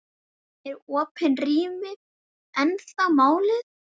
Eru opin rými ennþá málið?